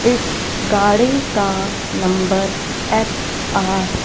इस गाड़ी का नंबर एच_आर --